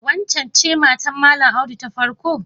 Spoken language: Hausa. Waccen ce matar Malam Audu ta farko?